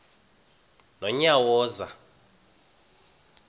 nonyawoza